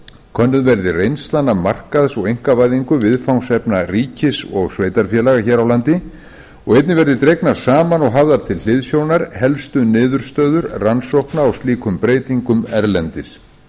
könnuð verði reynslan af markaðs og einkavæðingu viðfangsefna ríkis og sveitarfélaga hér á landi og einnig verði dregnar saman og hafðar til hliðsjónar helstu niðurstöður rannsókna á slíkum breytingum erlendis